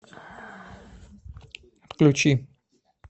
включи